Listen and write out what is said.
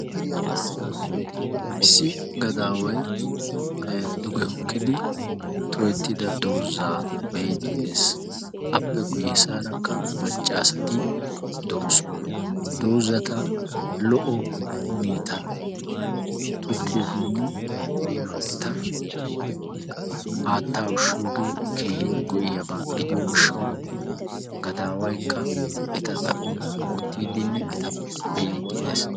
Issi gadaaway duge hokkidi tohettida doozzaa be'iiddi de'ees. Appe guyye baggaarakka macca asati de'oosona. Doozzata lo"o huneetan tokkiyogeenne eta haattaa ushshiyogee keehin go'iyaba gidiyo gishshawu gadaawaykka eta xaphuwan oottiiddinne eta be'iiddi dees.